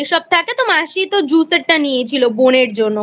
সব থাকে তো মাসি তো Juice এর টানিয়েছিল বোনের জন্য